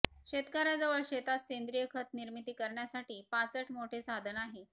शेतकर्याजवळ शेतात सेंद्रिय खत निर्मिती करण्यासाठी पाचट मोठे साधन आहे